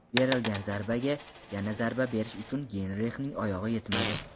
Berilgan zarbaga yana zarba berish uchun Geynrixning oyog‘i yetmadi.